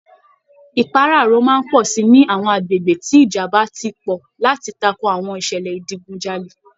Ìpáràro máa pọ̀ si ni àwọn agbègbè tí ìjàmbá ti pọ̀ láti tako àwọn ìṣẹ̀lẹ̀ ìdigunjalè